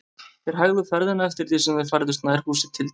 Þeir hægðu ferðina eftir því sem þeir færðust nær húsi Tildu.